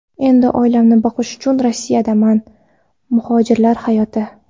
Endi oilamni boqish uchun Rossiyadaman” Muhojirlar hayoti.